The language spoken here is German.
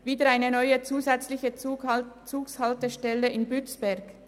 Wieder eine neue zusätzliche Zughaltestelle in Bützberg?